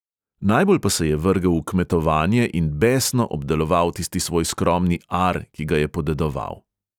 Najbolj pa se je vrgel v kmetovanje in besno obdeloval tisti svoj skromni ar, ki ga je podedoval.